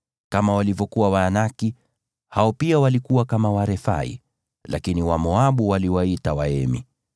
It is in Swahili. Kama walivyokuwa Waanaki, hao pia walikuwa kama Warefai, lakini Wamoabu waliwaita Waemi.